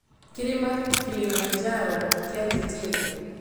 kĩrima Kilimanjaro kĩanjĩtie kũ?